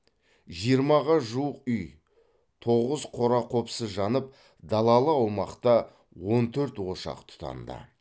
жиырмаға жуық үй тоғыз қора қопсы жанып далалы аумақта он төрт ошақ тұтанды